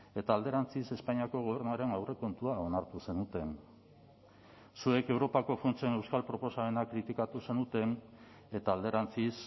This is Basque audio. eta alderantziz espainiako gobernuaren aurrekontua onartu zenuten zuek europako funtsen euskal proposamena kritikatu zenuten eta alderantziz